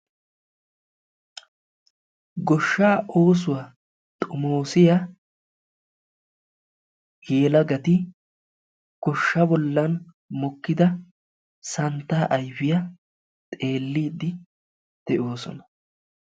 Goshshaa oosuwa xomoosiya he yelagati goshshaa bollan mokkida santtaa ayfiya xeelliiddi de'oosona.